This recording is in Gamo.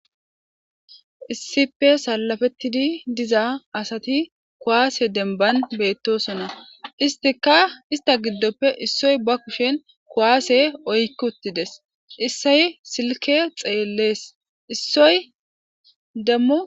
issippe salafettidi diza asati kuwaase demban beettosona istika ista giddoppe issoy ba kushen kuwaase oykki uttides issoy silke xeellees issoy dammu